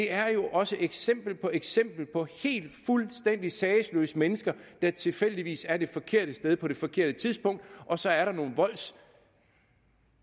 er jo også eksempel på eksempel på helt fuldstændig sagesløse mennesker der tilfældigvis er på det forkerte sted på det forkerte tidspunkt og så er der nogen